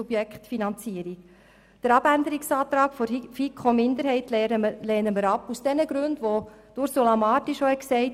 Den Abänderungsantrag der FiKo-Minderheit lehnen wir ab, und zwar aus denselben Gründen, die bereits Ursula Marti dargelegt hat.